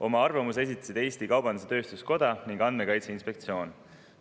Oma arvamuse esitasid Eesti Kaubandus-Tööstuskoda ning Andmekaitse Inspektsioon.